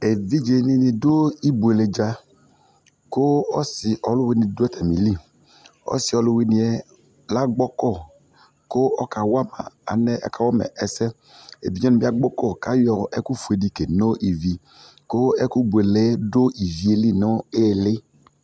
Evidze dini dʊ ibʊele dza kʊ ɔsɩ ɔwʊini di dʊ atamili ɔsi ɔwʊni ƴɛ lagbɔkɔ kʊ ɔkawama ɛsɛ evidze wan bi agbɔkɔ kʊ ayɔ ɔkʊ fʊedi keno ivi ɛfʊbele du ivieli nu ɩlɩ